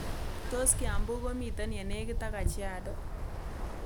Tos' kiambu komiten yenekit ak kajiado